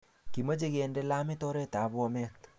Kimache kinde lamit oret ab Bomet .